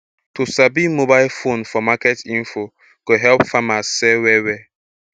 to sabi mobile phone for market info go help farmers sell well well